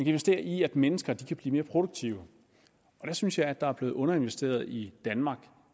investere i at mennesker kan blive mere produktive og der synes jeg at der er blevet underinvesteret i danmark